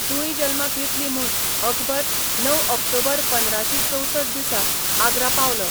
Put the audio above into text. जुळीं जल्माक येतलीं म्हूण अकबर णव ऑक्टोबर पंदराशीं चौसठ दिसा आग्रा पावलो.